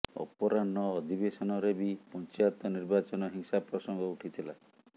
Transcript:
ଅପରାହ୍ନ ଅଧିବେଶନରେ ବି ପଞ୍ଚାୟତ ନିର୍ବାଚନ ହିଂସା ପ୍ରସଙ୍ଗ ଉଠିଥିଲା